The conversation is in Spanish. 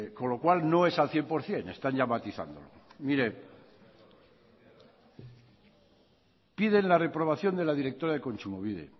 con lo cual no es al cien por ciento están ya matizándolo piden la reprobación de la directora de kontsumobide